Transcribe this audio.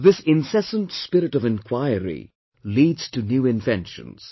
This incessant spirit of enquiry leads to new inventions